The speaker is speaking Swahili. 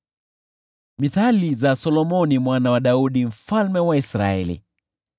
Mithali za Solomoni mwana wa Daudi, mfalme wa Israeli: